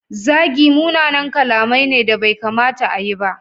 Zagi munanan kalamai ne da bai kamata a yi ba.